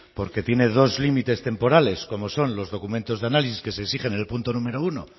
porque tiene dos límites temporales como son los documentos de análisis que se exigen en el punto número uno